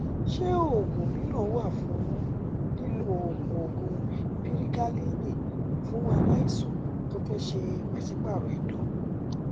insertion yẹ ki um o waye nikan um lẹhin ti ọmọbirin ro pe o um wa lubrication